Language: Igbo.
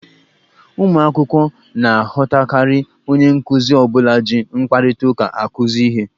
Ụmụ akwụkwọ na-aghọtakarị onye nkuzi ọ bụla ji mkparịta ụka akụzi ihe.